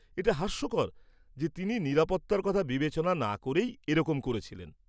এটা হাস্যকর যে তিনি নিরাপত্তার কথা বিবেচনা না করেই এরকম করেছিলেন।